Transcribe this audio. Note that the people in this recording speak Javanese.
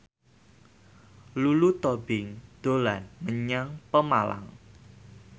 Lulu Tobing dolan menyang Pemalang